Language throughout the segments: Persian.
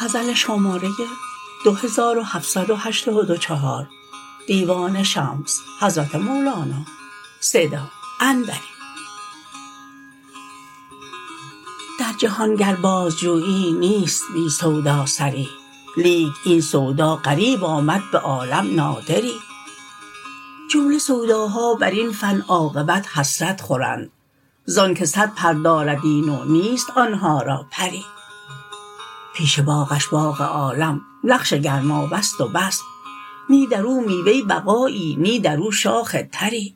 در جهان گر بازجویی نیست بی سودا سری لیک این سودا غریب آمد به عالم نادری جمله سوداها بر این فن عاقبت حسرت خورند ز آنک صد پر دارد این و نیست آن ها را پری پیش باغش باغ عالم نقش گرمابه ست و بس نی در او میوه بقایی نی در او شاخ تری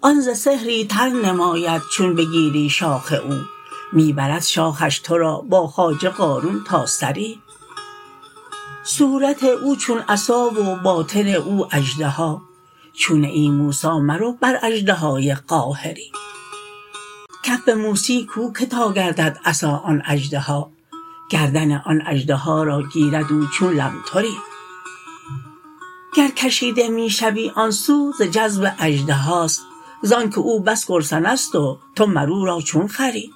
آن ز سحری تر نماید چون بگیری شاخ او می برد شاخش تو را با خواجه قارون تا ثری صورت او چون عصا و باطن او اژدها چون نه ای موسی مرو بر اژدهای قاهری کف موسی کو که تا گردد عصا آن اژدها گردن آن اژدها را گیرد او چون لمتری گر کشیده می شوی آن سو ز جذب اژدهاست ز آنک او بس گرسنه ست و تو مر او را چون خوری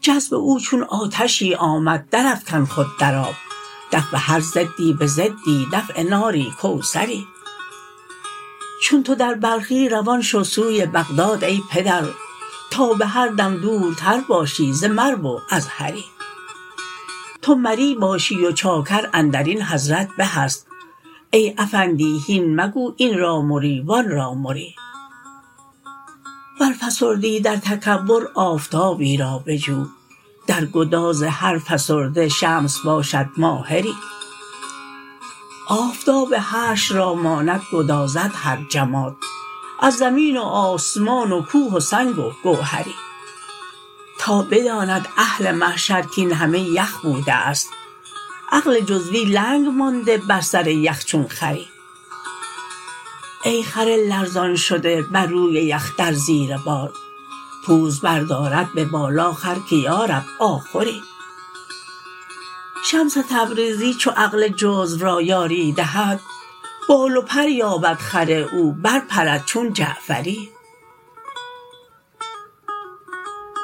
جذب او چون آتشی آمد درافکن خود در آب دفع هر ضدی به ضدی دفع ناری کوثری چون تو در بلخی روان شو سوی بغداد ای پدر تا به هر دم دورتر باشی ز مرو و از هری تو مری باشی و چاکر اندر این حضرت به است ای افندی هین مگو این را مری و آن را مری ور فسردی در تکبر آفتابی را بجو در گداز هر فسرده شمس باشد ماهری آفتاب حشر را ماند گدازد هر جماد از زمین و آسمان و کوه و سنگ و گوهری تا بداند اهل محشر کاین همه یخ بوده است عقل جزوی ننگ مانده بر سر یخ چون خری ای خر لرزان شده بر روی یخ در زیر بار پوز بردارد به بالا خر که یا رب آخری شمس تبریزی چو عقل جزو را یاری دهد بال و پر یابد خر او برپرد چون جعفری